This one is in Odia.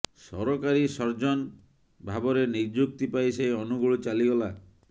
ସରକାରୀ ସର୍ଜନ ଭାବରେ ନିଯୁକ୍ତି ପାଇ ସେ ଅନୁଗୁଳ ଚାଲିଗଲା